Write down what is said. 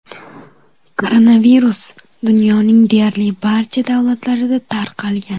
Koronavirus dunyoning deyarli barcha davlatlarida tarqalgan.